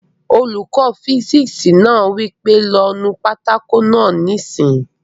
Olùkọ́ físìksì náà wí pé "lọ nu pátákó náà yóò níìsín!"